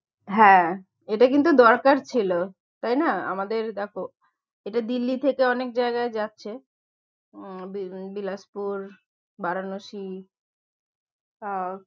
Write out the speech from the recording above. হ্যাঁ এটা কিন্তু দরকার ছিল, তাই না আমাদের দেখো এটা দিল্লি থেকে অনেক জায়গায় যাচ্ছে উম বি~ বিলাসপুর, বারাণসী আহ